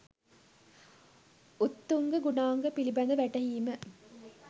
උත්තුංග ගුණාංග පිළිබඳ වැටහීම